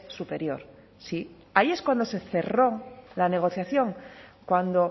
superior sí ahí es cuando se cerró la negociación cuando